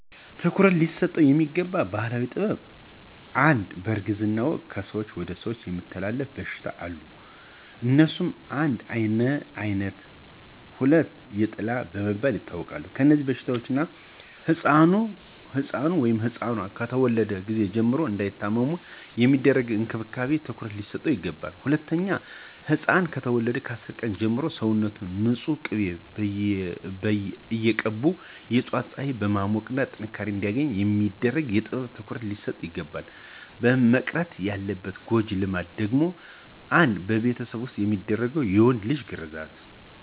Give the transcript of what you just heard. ትኩረት ሊሰጠው የሚገባ ባህላዊ ጥበብ #1, በእርግዝና ወቅት ከሰው ወደ ሰው የሚተላለፉ በሽታዎች አሉ. አነሱም: 1, የአይነት 2, የጥላ በመባል ይታወቃሉ. በእነዚህበሽታዎች ሕፃኑ(ኗ)ከተወለዱ ጊዜ ጀምሮ እንዳይታመሙ የሚደረግ እንክብካቤ ትኩረት ሊሰጠው ይገባል. #2, ሕፃናት ከተወለዱ ከ10 ቀን ጀምሮ ሰውነታችውን ንፁህ ቂቤ እየቀቡ የጧት ፀሐይ በማሞቅ ጥንካሬ አንዲያገኙ የሚደረግ ጥበብ ትኩረት ሊሰጠው ይግባላል. መቅረት ያለባት ጎጂ ልማድ ደግሞ: 1, በቤት ዉስጥ የሚደረግ የወንድ ልጅ ግርዛት